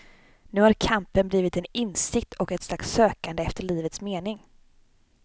Nu har kampen blivit en insikt och ett slags sökande efter livets mening.